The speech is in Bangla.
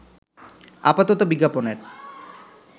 আপাতত বিজ্ঞাপনের